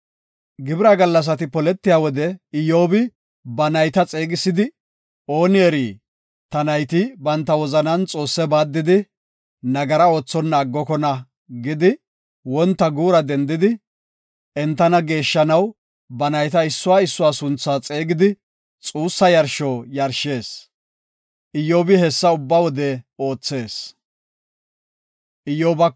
Gibira gallasati poletiya wode Iyyobi ba nayta xeegisidi, “Ooni eri ta nayti banta wozanan Xoosse baaddidi nagara oothonna aggokona” gidi wonta guura dendidi, entana geeshshanaw ba nayta issuwa issuwa sunthaa xeegidi xuussa yarsho yarshees. Iyyobi hessa ubba wode oothees.